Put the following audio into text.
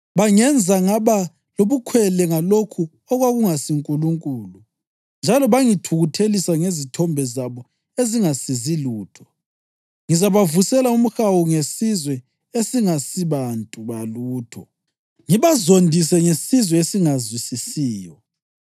Bangenza ngaba lobukhwele ngalokho okwakungasinkulunkulu njalo bangithukuthelisa ngezithombe zabo ezingasizi lutho. Ngizabavusela umhawu ngesizwe esingesibantu balutho; ngibazondise ngesizwe esingazwisisiyo.